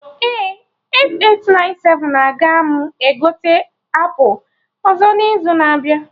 Ee. 8897aga m egote apụl ọzọ n'izu na-abịa